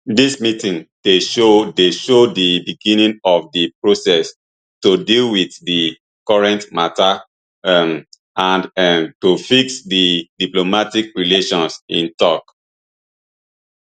dis meeting dey show dey show di beginning of di process to deal wit di current mata um and um to fix di diplomatic relations im tok